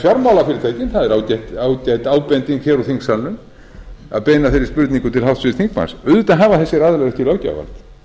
fjármálafyrirtækin það er ágæt ábending hér úr þingsalnum að beina þeirri spurningu til háttvirts þingmanns auðvitað hafa þessir aðilar ekki löggjafarvald